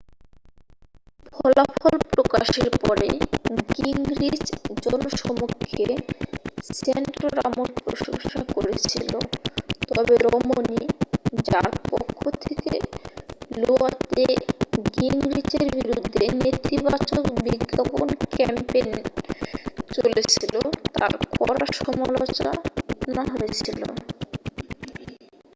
ফলাফল প্রকাশের পরে গিংরিচ জনসমক্ষে স্যান্টোরামের প্রশংসা করেছিল তবে রমনি যার পক্ষ থেকে লোয়াতে গিংরিচের বিরুদ্ধে নেতিবাচক বিজ্ঞাপন ক্যাম্পেন চলেছিল তার কড়া সমালোচনা হয়েছিল